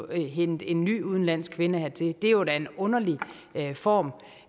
at hente en ny udenlandsk kvinde hertil det var da en underlig form